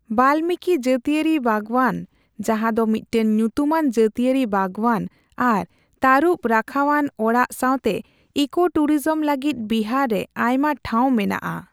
ᱵᱟᱞᱢᱤᱠᱤ ᱡᱟᱹᱛᱤᱭᱟᱹᱨᱤ ᱵᱟᱜᱽᱣᱟᱱ, ᱡᱟᱦᱟᱸ ᱫᱚ ᱢᱤᱫᱴᱟᱝ ᱧᱩᱛᱩᱢᱟᱱ ᱡᱟᱹᱛᱤᱭᱟᱹᱨᱤ ᱵᱟᱜᱽᱣᱟᱱ ᱟᱨ ᱛᱟᱨᱩᱵ ᱨᱟᱠᱷᱟᱣᱟᱱ ᱚᱲᱟᱜ ᱥᱟᱣᱛᱮ ᱤᱠᱳᱼᱴᱩᱨᱤᱡᱚᱢ ᱞᱟᱜᱤᱫ ᱵᱤᱦᱟᱨ ᱨᱮ ᱟᱭᱢᱟ ᱴᱷᱟᱣ ᱢᱮᱱᱟᱜᱼᱟ ᱾